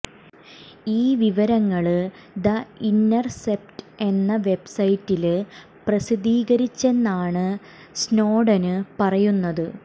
ഈ വിവരങ്ങള് the Intercept എന്ന വെബ്സൈറ്റില് പ്രസിദ്ധീകരിച്ചെന്നാണ് സ്നോഡന് പറയുന്നത്